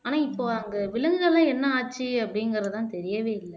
ஆனா இப்போ அங்க விலங்குகள் எல்லாம் என்ன ஆச்சு அப்படிங்கிறதுதான் தெரியவே இல்ல